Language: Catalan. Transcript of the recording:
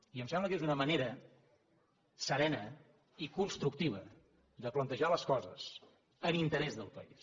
i em sembla que és una manera serena i constructiva de plantejar les coses en interès del país